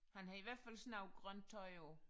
Han har i hvert fald sådan noget grønt tøj på